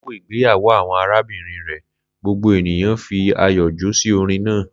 Lakoko igbeyawo awọn arabinrin rẹ, gbogbo eniyan fi ayọ jó si orin naa.